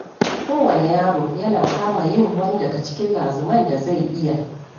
Kowane yaro yana kama yin wani daga cikin lazuman da zai iya.